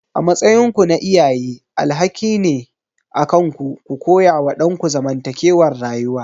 A matsayinku na iyaye alhakin ne akanku ku koyawa ɗanku zamantakewar rayuwa.